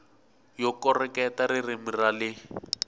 yo koreketa ririmi ra le